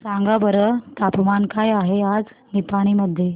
सांगा बरं तापमान काय आहे आज निपाणी मध्ये